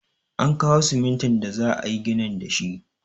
An kawo simintin da za'ayi ginin da shi.